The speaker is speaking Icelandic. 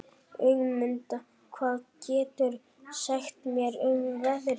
Ögmunda, hvað geturðu sagt mér um veðrið?